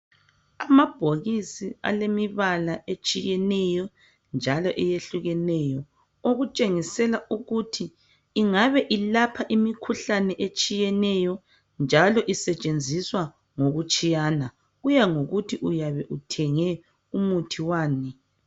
Amabhokisi alemibala etshiyeneyo njalo eyehlukeneyo okutshengisela ukuthi ingabe ilapha imikhuhlane etshiyeneyo njalo isetshenziswa ngokutshiyana kuya ngokuthi uyabe uthenge umuthi wani.